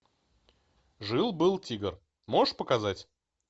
жил был тигр можешь показать